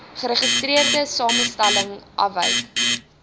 geregistreerde samestelling afwyk